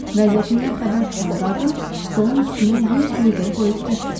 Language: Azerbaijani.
Vəziyyətimdən xəbər tutan qadın stolun üstünə 100 luidor qoyub getdi.